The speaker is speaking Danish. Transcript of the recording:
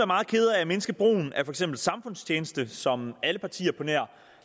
meget kede af at mindske brugen af for eksempel samfundstjeneste som alle partier på nær